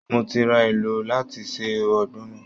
Mo ti ra èlò láti se Ogbono